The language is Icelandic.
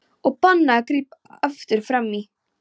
Og bannað að grípa aftur fram í!